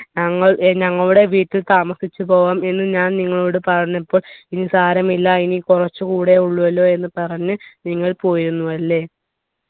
ഞങ്ങൾ ഏർ ഞങ്ങളുടെ വീട്ടിൽ താമസിച്ചു പോവാം എന്ന് ഞാൻ നിങ്ങളോട് പറഞ്ഞപ്പോൾ ഇനി സാരമില്ല ഇനി കുറച്ചുകൂടെ ഉള്ളൂ അല്ലോ എന്ന് പറഞ്ഞ് നിങ്ങൾ പോയിരുന്നു അല്ലെ